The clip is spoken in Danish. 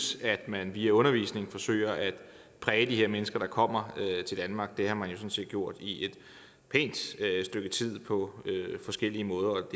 at man via undervisning forsøger at præge de mennesker der kommer til danmark det har man jo sådan set gjort i et pænt stykke tid på forskellige måder og